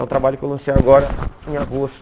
É um trabalho que eu lancei agora em agosto.